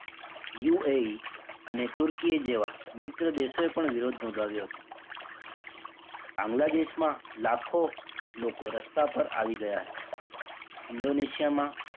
UAE અને તુર્કી જેવા મિત્ર દેશોએ પણ વિરોધ નોધાવ્યો હતો બાંગ્લાદેશમાં લાખો લોકો રસ્તા પર આવી ગયાં હતાં. ઇન્ડોનેશિયામાં,